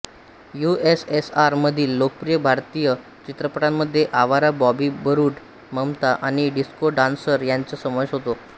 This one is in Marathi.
यूएसएसआर मधील लोकप्रिय भारतीय चित्रपटांमध्ये आवारा बॉबी बरूड ममता आणि डिस्को डान्सर यांचा समावेश होता